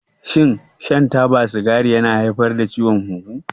Shin shan taba sigari yana haifar da ciwon hunhu?